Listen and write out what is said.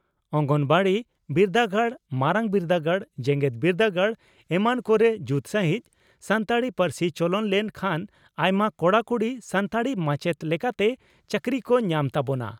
ᱚᱸᱝᱜᱚᱱᱟᱣᱟᱲᱤ ,ᱵᱤᱨᱫᱟᱹᱜᱟᱲ, ᱢᱟᱨᱟᱝ ᱵᱤᱨᱫᱟᱹᱜᱟᱲ ᱡᱮᱜᱮᱛ ᱵᱤᱨᱫᱟᱹᱜᱟᱲ ᱮᱢᱟᱱ ᱠᱚᱨᱮ ᱡᱩᱛ ᱥᱟᱹᱦᱤᱡ ᱥᱟᱱᱛᱟᱲᱤ ᱯᱟᱹᱨᱥᱤ ᱪᱚᱞᱚᱱ ᱞᱮᱱ ᱠᱷᱟᱱ ᱟᱭᱢᱟ ᱠᱚᱲᱟ ᱠᱩᱲᱤ ᱥᱟᱱᱛᱟᱲᱤ ᱢᱟᱪᱮᱛ ᱞᱮᱠᱟᱛᱮ ᱪᱟᱹᱠᱨᱤ ᱠᱚ ᱧᱟᱢ ᱛᱟᱵᱚᱱᱟ ᱾